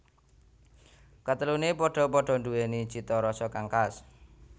Katelune padha padha nduwe cita rasa kang khas